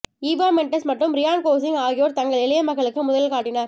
Eva Mendes மற்றும் Ryan Gosling ஆகியோர் தங்கள் இளைய மகளுக்கு முதலில் காட்டினர்